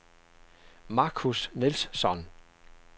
Marcus Nilsson